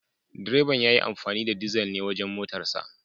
Direban ya yi amfani da dizal ne wajen motarsa.